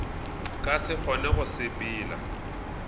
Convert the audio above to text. ka se kgone go sepela